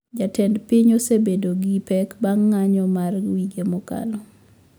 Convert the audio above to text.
Jatend piny osebedo gi pek bang` ng`anyo mar wige mokalo